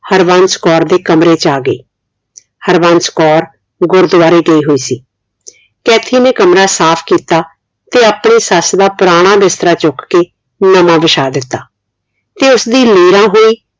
ਹਰਬੰਸ ਕੌਰ ਦੇ ਕਮਰੇ ਚ ਆ ਗਈ ਹਰਬੰਸ ਕੌਰ ਗੁਰੂਦੁਆਰੇ ਗਈ ਹੋਈ ਸੀ ਕੈਥੀ ਨੇ ਕਮਰਾ ਸਾਫ ਕੀਤਾ ਤੇ ਆਪਣੀ ਸਾਸ ਦਾ ਪੁਰਾਣਾ ਬਿਸਤਰਾ ਚੁੱਕ ਕੇ ਨਵਾਂ ਬਿਛਾ ਦਿੱਤਾ ਤੇ ਉਸਦੀ ਲੀਰਾਂ ਹੋਈ